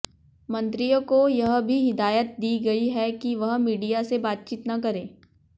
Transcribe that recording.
मंत्रियों को यह भी हिदायत दी गई है कि वह मीडिया से बातचीत न करें